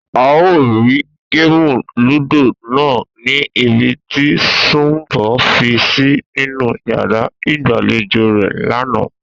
A ò rí géèmù lúdò náà ní ibi tí Su̩nmbò̩ fi sí nínú yàrá ìgbàlejò rè̩ lánàá